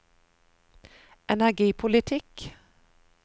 energipolitikk